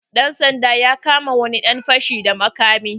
Ɗan sandan ya kama wani dan fashi da makami.